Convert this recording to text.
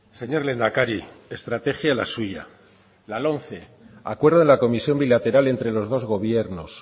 señor lehendakari estrategia la suya la lomce acuerdo de la comisión bilateral entre los dos gobiernos